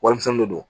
Warimisɛnnin de don